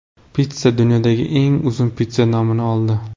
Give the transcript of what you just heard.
Pitssa dunyodagi eng uzun pitssa nomini oldi.